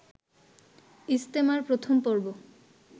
ইজতেমার প্রথম পর্ব